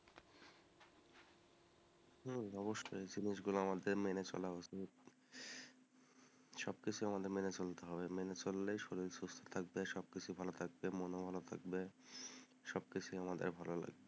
হম অবশ্যই জিনিস গুলো আমাদের মেনে চলা উচিত সবকিছু আমাদের মেনে চলতে হবে, মেনে চললেই শরীর সুস্থ থাকবে, সব কিছু ভালো থাকবে, মনও ভালো থাকবে, সব কিছু আমাদের ভালো লাগবে,